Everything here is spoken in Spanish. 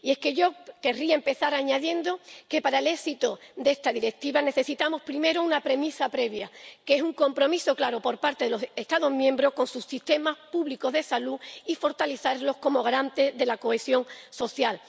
Y es que yo querría empezar añadiendo que, para el éxito de esta Directiva, necesitamos primero una premisa previa, que es un compromiso claro por parte de los Estados miembros con sus sistemas públicos de salud, para fortalecerlos como garantes de la cohesión social.